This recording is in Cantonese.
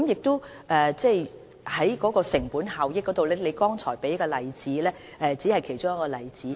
在成本效益方面，張議員剛才提出的只是其中的一個例子。